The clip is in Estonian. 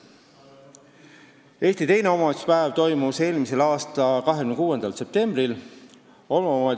Eesti teine omavalitsuspäev toimus eelmise aasta 26. septembril.